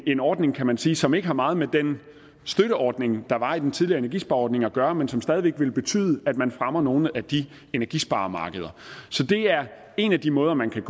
en ordning kan man sige som ikke har meget med den støtteordning der var den i tidligere energispareordning at gøre men som stadig væk vil betyde at man fremmer nogle af de energisparemarkeder så det er en af de måder man kan